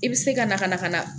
I bɛ se ka na ka na ka na